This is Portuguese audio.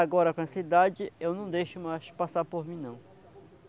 Agora, com essa idade, eu não deixo mais passar por mim, não.